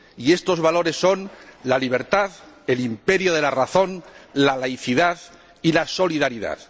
Y estos valores son la libertad, el imperio de la razón, la laicidad y la solidaridad.